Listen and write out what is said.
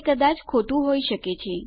તે કદાચિત ખોટું હોઈ શકે છે